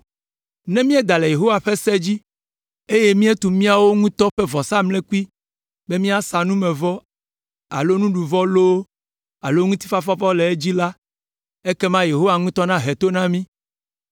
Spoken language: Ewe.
Ne míeda le Yehowa ƒe se dzi, eye míetu míawo ŋutɔ ƒe vɔsamlekpui be míasa numevɔ alo nuɖuvɔ loo alo ŋutifafavɔ le edzi la, ekema Yehowa ŋutɔ nahe to na mí.